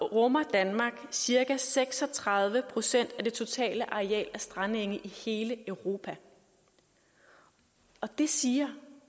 rummer danmark cirka seks og tredive procent af det totale areal af strandenge i hele europa og det siger